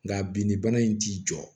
Nka bi ni bana in t'i jɔ